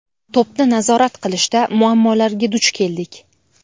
To‘pni nazorat qilishda muammolarga duch keldik.